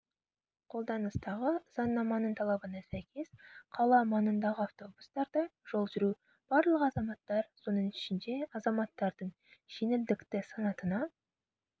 қолданыстағы заңнаманың талабына сәйкес қала маңындағы автобустарда жол жүру барлық азаматтар соның ішінде азаматтардың жеңілдікті санатына